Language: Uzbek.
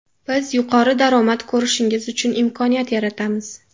Biz yuqori daromad ko‘rishingiz uchun imkoniyat yaratamiz.